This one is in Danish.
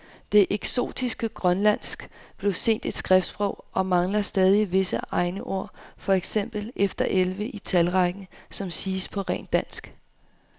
Det eksotiske grønlandsk blev sent et skriftsprog og mangler stadig visse egne ord, for eksempel efter elleve i talrækken, som siges på rent dansk.